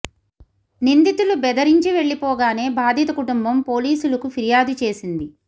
నిందితులు బెదరించి వెళ్లిపోగానే బాధిత కుటుంబం పోలీసులకు ఫిర్యాదు చేసింది